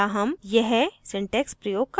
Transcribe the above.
* या हम यह syntax प्रयोग कर सकते हैं